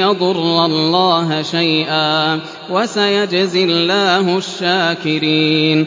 يَضُرَّ اللَّهَ شَيْئًا ۗ وَسَيَجْزِي اللَّهُ الشَّاكِرِينَ